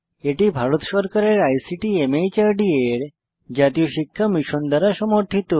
এটি ভারত সরকারের আইসিটি মাহর্দ এর জাতীয় শিক্ষা মিশন দ্বারা সমর্থিত